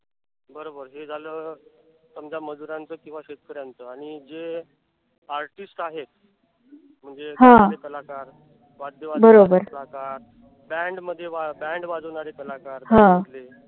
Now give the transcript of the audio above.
हे झालं समजा मजुरांच किंवा शेतकऱ्याच आणि जे artist आहेत. म्हणजे कलाकार वाद्य वाजवणारे कलाकार, band मध्ये band वाजवणारे कलाकार